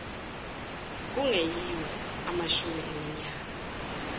kungeyiwo amashumi eminyaka